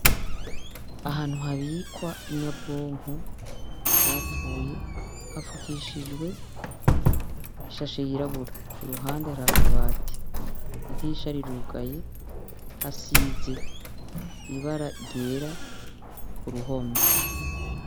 ahantu habikwa inyabwonko zapfuye hapfukishjiwe ishashe yirabura iruhande harakabati idirisha rirugaye hasize ibara ryera k'uruhome